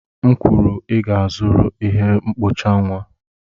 M kwuru, ị ga-azụrịrị ihe mkpocha nwa!